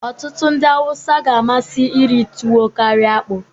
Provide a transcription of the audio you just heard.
ọtụtụ ndị Hausa ga-amasị iri tuwo karịa akpu